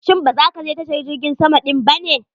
Shin ba za ka je tashar jirgin sama din ba ne?